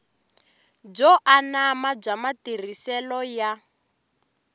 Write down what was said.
byo anama bya matirhiselo ya